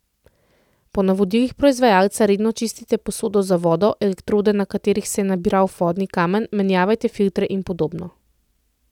Po navodilih proizvajalca redno čistite posodo za vodo, elektrode, na katerih se je nabral vodni kamen, menjavajte filtre in podobno.